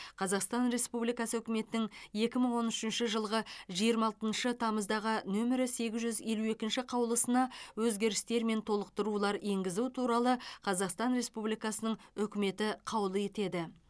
қазақстан республикасы үкіметінің екі мың он үшінші жылғы жиырма алтыншы тамыздағы нөмірі сегіз жүз елу екінші қаулысына өзгерістер мен толықтырулар енгізу туралы қазақстан республикасының үкіметі қаулы етеді